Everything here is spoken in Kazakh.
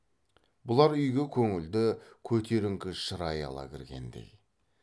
бұлар үйге көңілді көтеріңкі шырай ала кіргендей